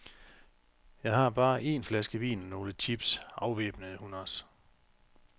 Jeg har bare en flaske vin og nogle chips, afvæbnede hun os.